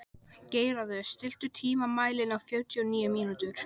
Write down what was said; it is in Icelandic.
Geirarður, stilltu tímamælinn á fjörutíu og níu mínútur.